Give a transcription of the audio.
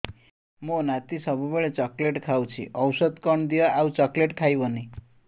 ମୋ ନାତି ସବୁବେଳେ ଚକଲେଟ ଖାଉଛି ଔଷଧ କଣ ଦିଅ ଆଉ ଚକଲେଟ ଖାଇବନି